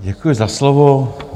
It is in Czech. Děkuji za slovo.